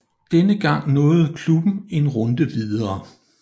Denne gang nåede klubben en runde videre